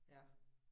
Ja